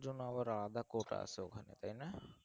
আহ আর জন্য আবার আলাদা quota আছে তাই না?